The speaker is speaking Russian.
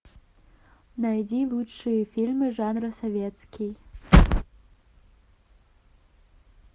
найди лучшие фильмы жанра советский